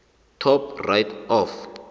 top right of